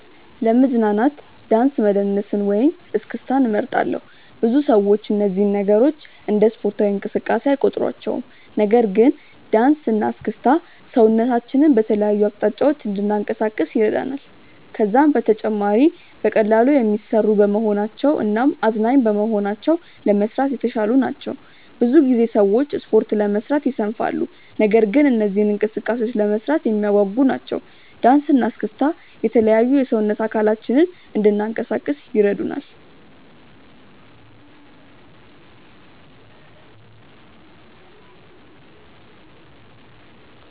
ለመዝናናት ዳንስ መደነስን ወይም እስክስታን እመርጣለሁ። ብዙ ሰዎች እነዚህን ነገሮች እንደ ስፖርታዊ እንቅስቃሴ አይቆጥሯቸውም። ነገር ግን ዳንስ እና እስክስታ ሰውነታችንን በተለያዩ አቅጣጫዎች እንድናንቀሳቅስ ይረዳናል። ከዛም በተጨማሪ በቀላሉ የሚሰሩ በመሆናቸው እናም አዝናኝ በመሆናቸው ለመስራት የተሻሉ ናቸው። ብዙ ጊዜ ሰዎች ስፖርት ለመስራት ይሰንፋሉ። ነገር ግን እነዚህ እንቅስቃሴዎች ለመስራት የሚያጓጉ ናቸው። ዳንሰ እና እስክስታ የተለያዩ የሰውነት አካላችንን እንናንቀሳቀስ ይረዱናል።